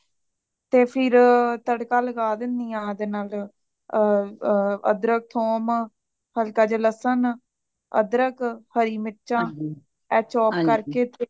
ਤੇ ਫਿਰ ਤੜਕਾ ਲਾਗਾਦੇਨੋਯ ਓਹਦੇ ਨਾਲ ਅ ਅ ਅਦ੍ਰਖ ਥੋਮ ਹਲਕਾ ਜਾ ਲੱਸਣ, ਅਦਰਕ ਹਰੀ ਮਿਰਚਾਂ ਇਹ chop ਕਰਕੇ ਤੇ